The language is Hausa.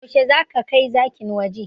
Yaushe zaka kai zakin waje?